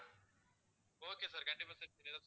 okay sir கண்டிப்பா set பண்ணிடலாம் sir